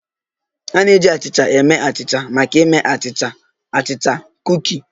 A na-eji achịcha eme achịcha maka ịme achịcha, achịcha, kuki